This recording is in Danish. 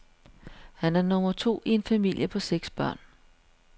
Han er nummer to i en familie på seks børn.